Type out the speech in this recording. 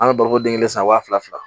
An bɛ baloko den kelen san wa fila fila fila